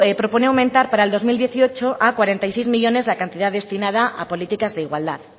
proponen aumentar para el dos mil dieciocho a cuarenta y seis millónes la cantidad destinada a políticas de igualdad